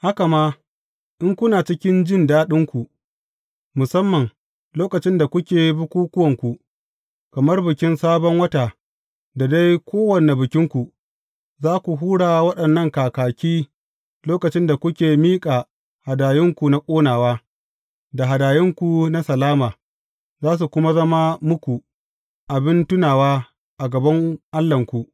Haka ma in kuna cikin jin daɗinku, musamman lokacin da kuke bukukkuwanku, kamar Bikin Sabon Wata da dai kowane Bikinku, za ku hura waɗannan kakaki lokacin da kuke miƙa hadayunku na ƙonawa, da hadayunku na salama, za su kuma zama muku abin tunawa a gaban Allahnku.